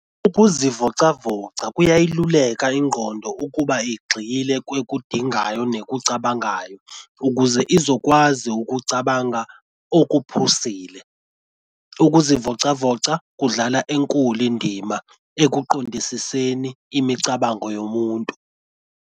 Ukuzivocavoca kuyayiluleka ingqondo ukuba igxile kwekudingayo nekucabangayo ukuze izokwazi ukucabanga okuphusile. Ukuzivocavoca kudlala enkulu indima ekuqondisiseni imicabango yomuntu.